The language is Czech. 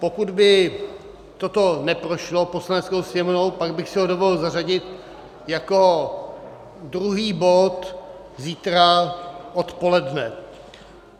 Pokud by toto neprošlo Poslaneckou sněmovnou, pak bych si ho dovolil zařadit jako druhý bod zítra odpoledne.